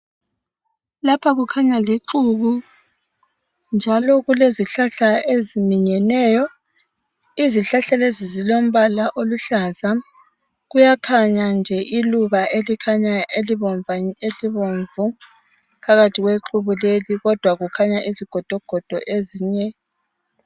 Lapha kukhanya lixuku njalo kulezihlahla eziminyeneyo izihlahla lezi zilombala oluhlaza kuyakhanya nje iluba elikhanya libomvu phakathi kwexuku leli kodwa kukhanya izigodogoda ezinye